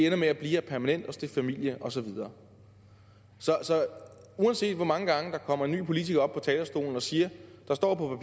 ender med at blive her permanent og stifte familie og så videre så uanset hvor mange gange der kommer en ny politiker op på talerstolen og siger at der står på